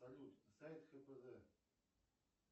салют сайт кпз